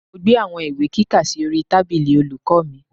Mo gbé àwọn ìwé kíkà sí orí tábìlì olùkọ́ mi